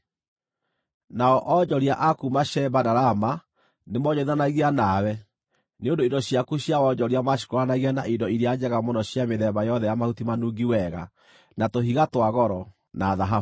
“ ‘Nao onjoria a kuuma Sheba na Rama nĩmoonjorithanagia nawe; nĩ ũndũ indo ciaku cia wonjoria maacikũũranagia na indo iria njega mũno cia mĩthemba yothe ya mahuti manungi wega, na tũhiga twa goro, na thahabu.